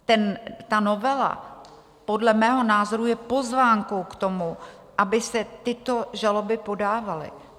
Ta novela podle mého názoru je pozvánkou k tomu, aby se tyto žaloby podávaly.